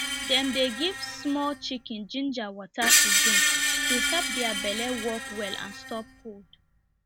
dem dey give small chicken ginger water to drink to help their belle work well and stop cold